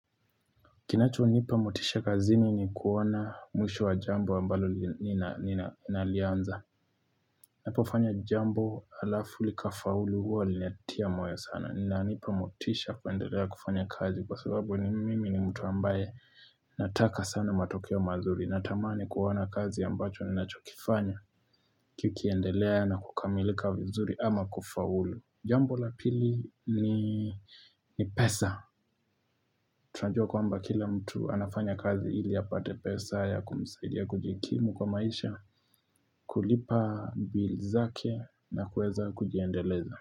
Kinacho nipa motisha kazini ni kuona mwisho wa jambo ambalo nina alianza. Napofanya jambo alafu likafaulu huwa linatia moyo sana. Nanipa motisha kuendelea kufanya kazi kwa sababu ni mimi ni mtu ambaye nataka sana matokeo mazuri. Natamani kuona kazi ambacho ninacho kifanya kikiendelea na kukamilika vizuri ama kufaulu. Jambo la pili ni pesa. Tuanjua kwamba kila mtu anafanya kazi ili apate pesa ya kumisaidia kujikimu kwa maisha, kulipa bill zake na kweza kujiendeleza.